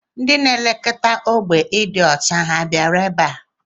Ndị na-elekọta ógbè ịdị ọcha ha bịara ebe a?